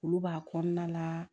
Olu b'a kɔnɔna la